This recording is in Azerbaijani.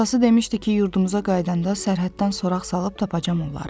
Atası demişdi ki, yurdumuza qayıdanda sərhəddən soraq salıb tapacam onları.